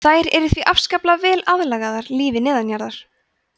þær eru því afskaplega vel aðlagaðar lífi neðanjarðar